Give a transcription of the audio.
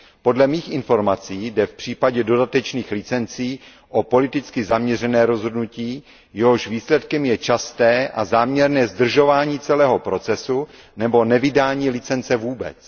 Podle mých informací jde v případě dodatečných licencí o politicky zaměřené rozhodnutí, jehož výsledkem je časté a záměrné zdržování celého procesu, nebo nevydání licence vůbec.